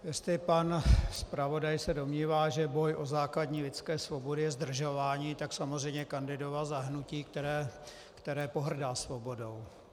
Jestli pan zpravodaj se domnívá, že boj o základní lidské svobody je zdržování, tak samozřejmě kandidoval za hnutí, které pohrdá svobodou.